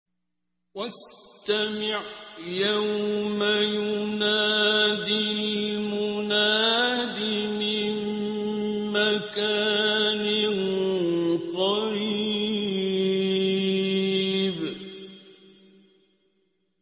وَاسْتَمِعْ يَوْمَ يُنَادِ الْمُنَادِ مِن مَّكَانٍ قَرِيبٍ